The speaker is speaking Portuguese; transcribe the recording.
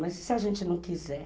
Mas e se a gente não quiser?